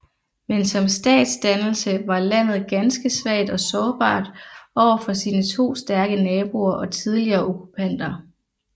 Men som statsdannelse var landet ganske svagt og sårbart over for sine to stærke naboer og tidligere okkupanter